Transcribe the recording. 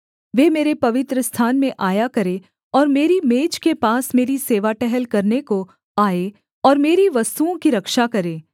वे मेरे पवित्रस्थान में आया करें और मेरी मेज के पास मेरी सेवा टहल करने को आएँ और मेरी वस्तुओं की रक्षा करें